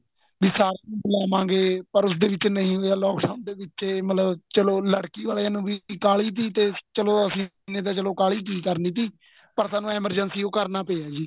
ਵੀ ਸਾਰਿਆਂ ਨੂੰ ਬੁਲਾਵਾਗੇ ਪਰ ਉਸ ਦੇ ਵਿੱਚ ਨਹੀਂ ਹੋਇਆ lock down ਦੇ ਵਿੱਚ ਏ ਮਤਲਬ ਚਲੋਂ ਲੜਕੀ ਵਾਲਿਆਂ ਨੂੰ ਕਾਹਲੀ ਤੇ ਚਲੋ ਅਸੀਂ ਨੇ ਤਾਂ ਚਲੋ ਕਾਹਲੀ ਕੀ ਕਰਨੀ ਤੀ ਪਰ ਸਾਨੂੰ emergency ਹੀ ਕਰਨਾ ਪਇਆ ਜੀ